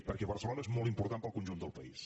perquè barcelona és molt important per al conjunt del país